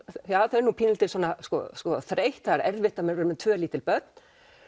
þau eru nú pínulítið sko þreytt það er erfitt að vera með tvö lítil börn